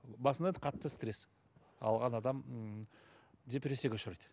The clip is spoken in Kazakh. басында да қатты стресс алған адам м депрессияға ұшырайды